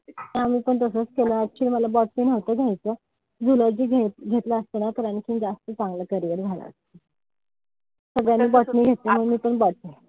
आम्ही पण तसेच केलं. Actually मला botany नव्हतं घ्यायचं. Zoology घेतलं असत ना तर आणखीन जास्त चांगलं carrier झालं असत. सगळ्यांनी botany घेतलं म मीपण botany.